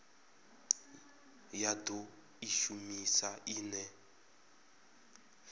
ya do i shumisa ine